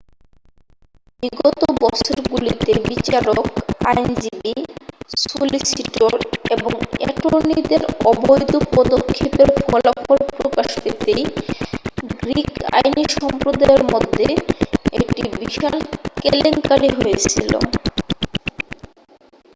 বিগত বছরগুলিতে বিচারক আইনজীবী সলিসিটর এবং অ্যাটর্নিদের অবৈধ পদক্ষেপের ফলাফল প্রকাশ পেতেই গ্রীক আইনী সম্প্রদায়ের মধ্যে একটি বিশাল কেলেঙ্কারী হয়েছিল